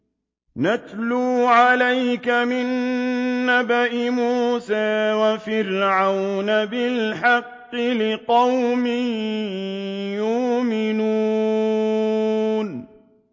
نَتْلُو عَلَيْكَ مِن نَّبَإِ مُوسَىٰ وَفِرْعَوْنَ بِالْحَقِّ لِقَوْمٍ يُؤْمِنُونَ